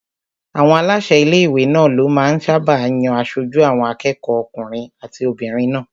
Àwọn aláṣẹ ilé-ìwé náà ló máa ń sáábà yan aṣojú àwọn akẹ́kọ̀ọ́ okùnrin àti obìnrin náà